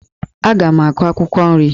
Aga m akụ akwụkwọ nri